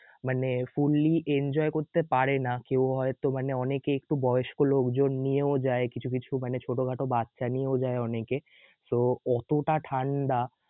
মানে fully enjoy করতে পারে না, কেউ হয়ত মানে অনেকেই একটু বয়স্ক লোকজন নিয়েও যায় কিছু কিছু মানে ছোটখাটো বাচ্চা নিয়েও যায় অনেকে তো অতটা ঠাণ্ডা